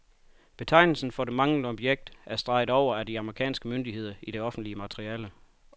Betegnelsen for det manglende objekt er streget over af de amerikanske myndigheder i det offentliggjorte materiale.